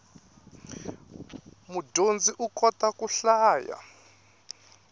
mudyondzi u kota ku hlaya